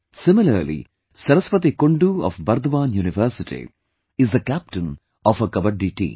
Similarly, Saraswati Kundu of Burdwan University is the captain of her Kabaddi team